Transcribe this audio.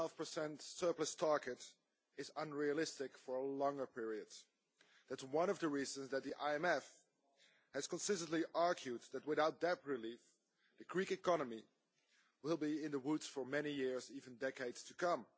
3.5 surplus target is unrealistic for a longer period that is one of the reasons that the IMF has consistently argued that, without debt relief, the Greek economy will be in the woods for many years even decades to come.